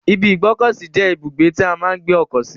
ibi ìgbọ́kọ̀sí je ibugbe ti a maa n gbe oko si.